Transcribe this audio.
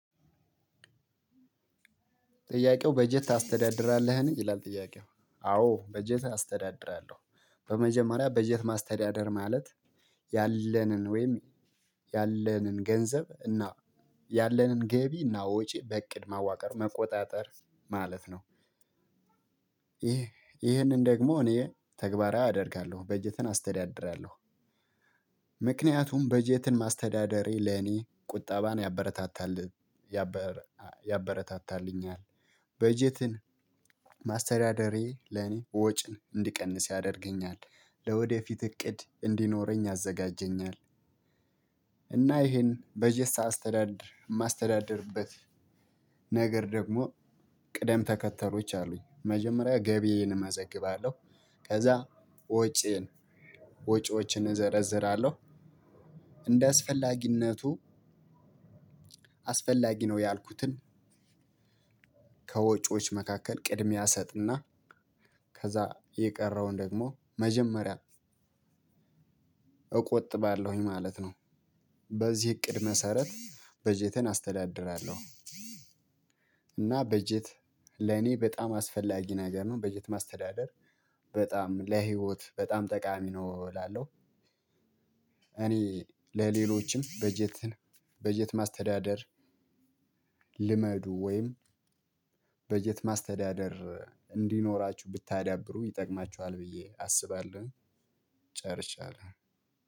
ጥያቄው በጀት ታስተዳድራለህን ይላል? ጥያቄው አዎ በጀት አስተዳድራለሁ። በመጀመሪያ በጀት ማስተዳደር ማለት ያለንን ወይም ያለንን ገንዘብ እና ያለንን ገቢ እና ወጪ በእቅድ ማዋቀር መቆጣጠር ማለት ነው። ይህንን ደግሞ እኔ ተግባራዊ አደርጋለሁ በጀትን አስተዳድራለሁ። ምክንያቱም በጀትን ማስተዳደሬ ለኔ ቁጠባን ያበረታታል ያበረታታልኛል። በጀትን ማስተዳደሬ ለኔ ወጪን እንድቀንስ ያደርገኛል። ለወደፊት እቅድ እንዲኖረኝ ያዘጋጀኛል። እና ይሄን በጀት ሳስተዳድር የማስተዳድርበት ነገር ደግሞ ቅደም ተከተሎች አሉኝ። መጀመሪያ ገቢዬን እመዘግባለሁ። ከዛ ወጪዬን ወጪዎችን እዘረዝራለሁ። እንደ አስፈላጊነቱ አስፈላጊ ነው ያልኩትን ከወጪዎች መካከል ቅድሚያ እሰጥና። ከዛ የቀረውን ደግሞ መጀመሪያ እቆጥባለሁኝ ማለት ነው። በዚህ እቅድ መሰረት በጀቴን አስተዳድራለሁ። እና በጀት ለኔ በጣም አስፈላጊ ነገር ነው። በጀት ማስተዳደር በጣም ለህይወት በጣም ጠቃሚ ነው እላለሁ። እኔ ለሌሎችም በጀትን በጀት ማስተዳደር ልመዱ ወይም በጀት ማስተዳደር እንዲኖራችሁ ብታዳብሩ ይጠቅማችኋል ብዬ አስባለሁ። ጨርሻለሁ።